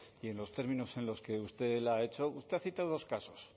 y en los términos en los que usted la ha hecho usted ha citado dos casos